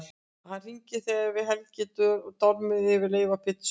Hann hringir þegar við Helgi dormum yfir leifum af pizzu og